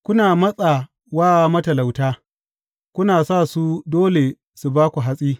Kuna matsa wa matalauta kuna sa su dole su ba ku hatsi.